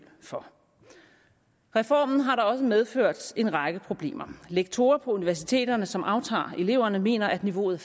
for reformen har da også medført en række problemer lektorer på universiteterne som aftager eleverne mener at niveauet